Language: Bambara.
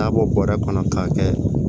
N'a bɔ bɔrɛ kɔnɔ k'a kɛ